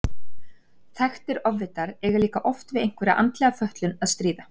Þekktir ofvitar eiga líka oft við einhverja andlega fötlun að stríða.